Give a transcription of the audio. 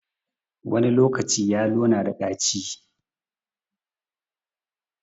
Wani lokaci yalo na da ɗaci.